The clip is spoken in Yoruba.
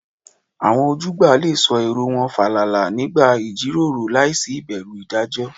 Àwọn ojúgbà lè sọ èrò wọn fàlàlà nígbà ìjíròrò láìsí ìbẹ̀rù ìdájọ́